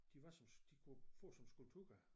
De var som de kunne fås som skulpturer